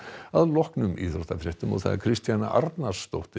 að loknum íþróttafréttum Kristjana Arnarsdóttir